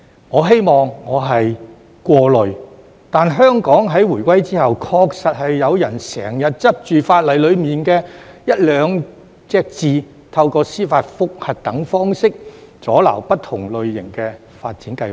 我希望我是過慮，但香港在回歸後，確實是有人經常執着於法例當中的一兩個字，透過司法覆核等方式，阻撓不同類型的發展計劃。